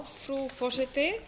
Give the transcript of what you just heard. frú forseti